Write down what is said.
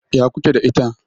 Ya ku ke da ita?